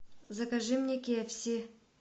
закажи мне кекси